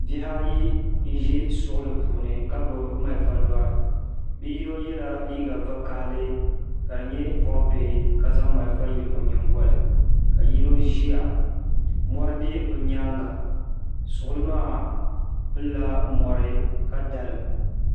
bihi ayi n-ʒi suɣuli puuni ka gbubi malifa dɔri bi'yino yela liiga vakahili ka di nyɛ bɔɣ'bihi ka zaŋ malifa yili o nyinŋgɔli ka yino ʒia mɔri be bɛ nyaaŋa suɣuli maa pili la mɔri ka dalim